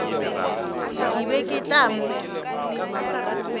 ke be ke tla mo